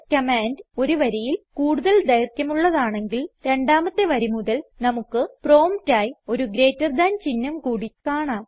command ഒരു വരിയിൽ കൂടുതൽ ദൈർഘ്യമുള്ളതാണെങ്കിൽ രണ്ടാമത്തെ വരി മുതൽ നമുക്ക് പ്രോംപ്റ്റ് ആയി ഒരു ഗ്രേറ്റർ ദാൻ ചിഹ്നം കൂടി കാണാം